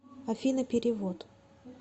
афина перевод